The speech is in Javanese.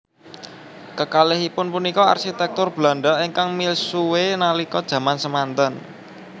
Kekalihipun punika arsitektur Belanda ingkang misuwue nalika jaman semanten